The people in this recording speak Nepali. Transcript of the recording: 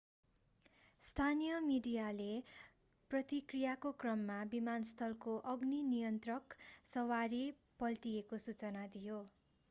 स्थानीय मिडियाले प्रतिक्रियाको क्रममा विमानस्थलको अग्नि नियन्त्रक सवारी पल्टिएको सूचना दियो